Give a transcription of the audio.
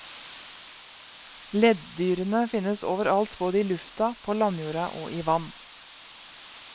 Leddyrene finnes over alt både i lufta, på landjorda og i vann.